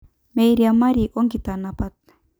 Meiriamari o nkitanapat